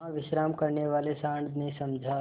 वहाँ विश्राम करने वाले सॉँड़ ने समझा